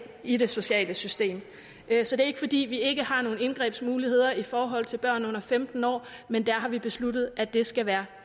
i det sociale system så det er ikke fordi vi ikke har nogen indgrebsmuligheder i forhold til børn under femten år men der har vi besluttet at det skal være